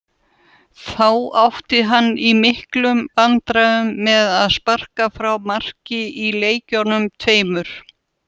Þá átti hann í miklum vandræðum með að sparka frá marki í leikjunum tveimur.